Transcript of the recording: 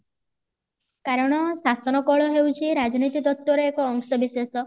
କାରଣ ଶାସନ କଳ ହଉଛି ରାଜନୀତି ତତ୍ଵ ରେ ଏକ ଅଂଶବିଶେଷ